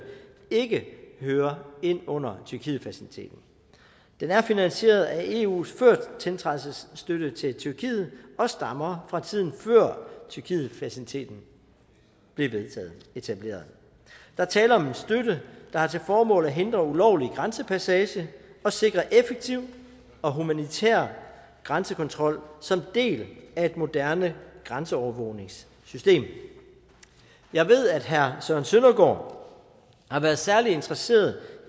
ikke hører ind under tyrkietfaciliteten den er finansieret af eus førtiltrædelsesstøtte til tyrkiet og stammer fra tiden før tyrkietfaciliteten blev etableret der er tale om en støtte der har til formål at hindre ulovlig grænsepassage og sikre en effektiv og humanitær grænsekontrol som en del af et moderne grænseovervågningssystem jeg ved at herre søren søndergaard har været særlig interesseret